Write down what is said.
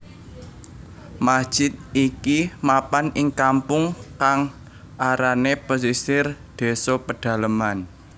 Masjid iki mapan ing kampung kang arané Pesisir désa Pedaleman